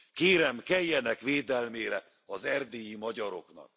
Kérem, keljenek védelmére az erdélyi magyaroknak!